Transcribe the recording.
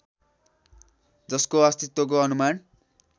जसको अस्तित्वको अनुमान